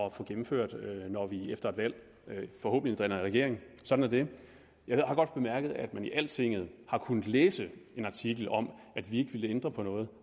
at få gennemført når vi efter et valg forhåbentlig danner regering sådan er det jeg har godt bemærket at man i altinget har kunnet læse en artikel om at vi ikke ville ændre på noget